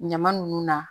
Ɲama ninnu na